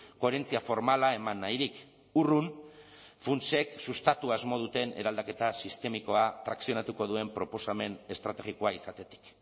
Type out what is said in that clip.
koherentzia formala eman nahirik urrun funtsek sustatu asmo duten eraldaketa sistemikoa trakzionatuko duen proposamen estrategikoa izatetik